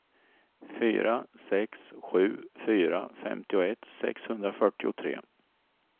fyra sex sju fyra femtioett sexhundrafyrtiotre